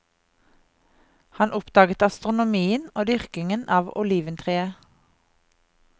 Han oppdaget astronomien og dyrkingen av oliventreet.